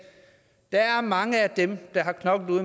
der er mange af dem der har knoklet